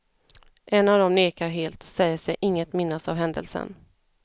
En av dem nekar helt och säger sig inget minnas av händelsen.